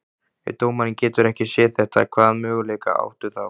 Ef dómarinn getur ekki séð þetta, hvaða möguleika áttu þá?